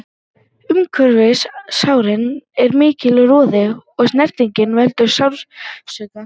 Umhverfis sárin er mikill roði og snerting veldur sársauka.